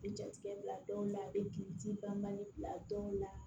I bɛ jatigɛ bila dɔw la a bɛ kibaru bila dɔw la